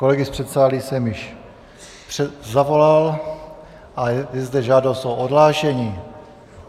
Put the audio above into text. Kolegy z předsálí jsem již zavolal a je tu žádost o odhlášení.